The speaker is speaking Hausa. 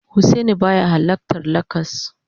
Husaini baya halartar lakcas